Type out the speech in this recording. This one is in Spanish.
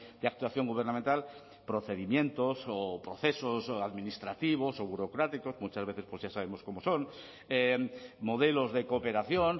de actuación gubernamental procedimientos o procesos administrativos o burocráticos muchas veces pues ya sabemos cómo son modelos de cooperación